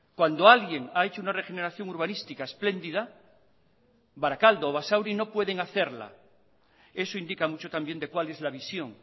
cuando alguien ha hecho una regeneración urbanística espléndida barakaldo o basauri no pueden hacerla eso indica mucho también de cuál es la visión